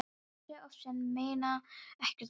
Hún fjasi oft svona en meini ekkert með því.